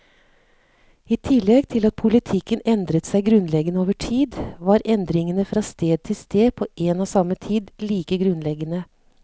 I tillegg til at politikken endret seg grunnleggende over tid, var endringene fra sted til sted på en og samme tid like grunnleggende.